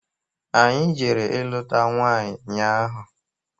Anyị jere ilụta nwanyị nnya ahụ.